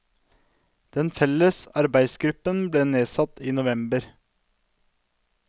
Den felles arbeidsgruppen ble nedsatt i november.